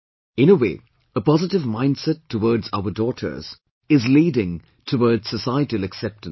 In a way, a positive mindset towards our daughters is leading towards societal acceptance